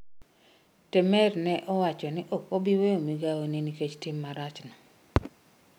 Temer ne owacho ni ok obi weyo migawone nikech tim marachno.